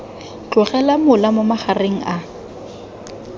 tlogela mola mo magareng a